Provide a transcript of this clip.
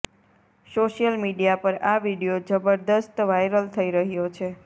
social media પર આ video જબરદસ્ત વાયરલ થઈ રહ્યો છે